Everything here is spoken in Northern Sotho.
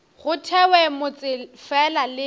go thewe motse fela le